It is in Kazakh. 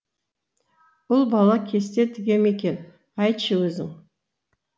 ұл бала кесте тіге ме екен айтшы өзің